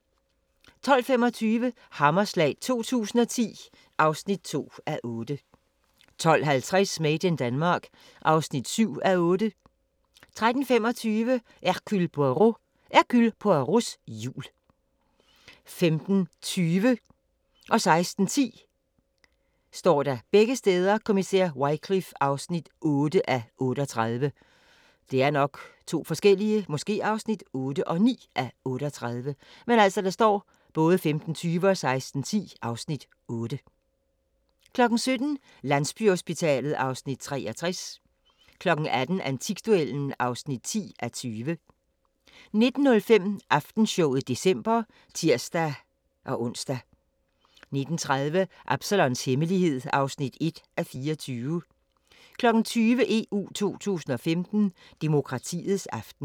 12:25: Hammerslag 2010 (2:8) 12:50: Made in Denmark (7:8) 13:35: Hercule Poirot: Hercule Poirots jul 15:20: Kommissær Wycliffe (8:38) 16:10: Kommissær Wycliffe (8:38) 17:00: Landsbyhospitalet (Afs. 63) 18:00: Antikduellen (10:20) 19:05: Aftenshowet december (tir-ons) 19:30: Absalons Hemmelighed (1:24) 20:00: EU 2015: Demokratiets aften